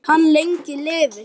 Hann lengi lifi.